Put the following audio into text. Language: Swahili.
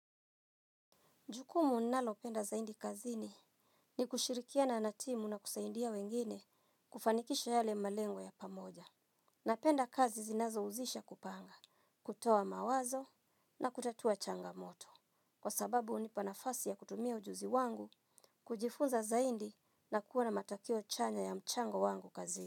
Jukumu nalopenda zaidi kazini ni kushirikiana na timu na kusaidia wengine kufanikisha yale malengo ya pamoja. Napenda kazi zinazohusisha kupanga, kutoa mawazo na kutatua changamoto. Kwa sababu unipa nafasi ya kutumia ujuzi wangu, kujifunza zaidi na kuwa na matokeo chanya ya mchango wangu kazini.